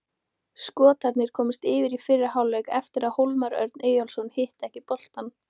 Skotarnir komust yfir í fyrri hálfleik eftir að Hólmar Örn Eyjólfsson hitti ekki boltann.